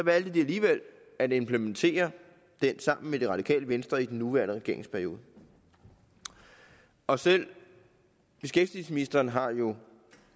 valgte de alligevel at implementere den sammen med det radikale venstre i den nuværende regeringsperiode og selv beskæftigelsesministeren har jo